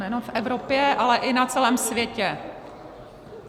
Nejenom v Evropě, ale i na celém světě.